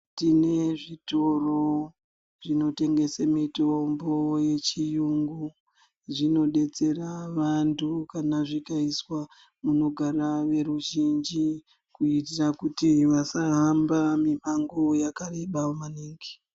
Tine zvitoro zvinotengese mitombo yechiyungu. Zvinodetsera vantu kana zvikaiswa munogara veruzhinji, kuitira kuti vasahamba mimango yakareba maningi.